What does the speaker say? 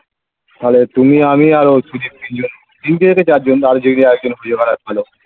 তাহলে তুমি আমি আর ওই প্রদীপ তিনজনে তিন থেকে চার জন আর যে কেউ একজন হয়ে যাবে .